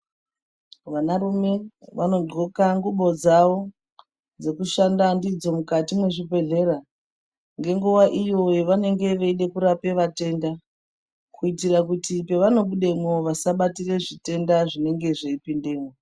Vanarume vanodhloka ngubo dzavo dzekushanda ndidzo mukati mwezvibhedhlera. Ngenguva iyo yavanenge veida kurapa vatenda. Kuitira kuti pavanobudemwo vasabatire zvitenda zvinenge zveipindemwo.